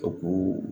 O k'o